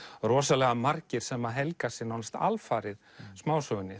rosalega margir sem að helga sig nánast alfarið smásögunni